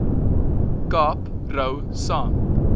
kaap rou saam